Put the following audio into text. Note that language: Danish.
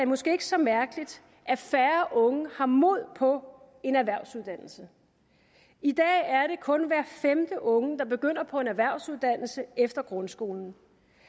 måske ikke så mærkeligt at færre unge har mod på en erhvervsuddannelse i dag er det kun hver femte unge der begynder på en erhvervsuddannelse efter grundskolen